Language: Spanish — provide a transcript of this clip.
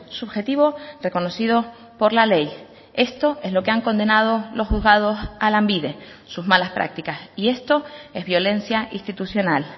subjetivo reconocido por la ley esto es lo que han condenado los juzgados a lanbide sus malas prácticas y esto es violencia institucional